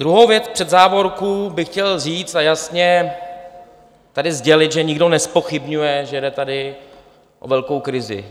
Druhou věc před závorku bych chtěl říct a jasně tady sdělit, že nikdo nezpochybňuje, že je tady o velkou krizi.